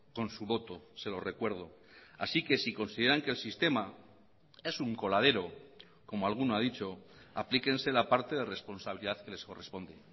con su voto se lo recuerdo así que si consideran que el sistema es un coladero como alguno ha dicho aplíquense la parte de responsabilidad que les corresponde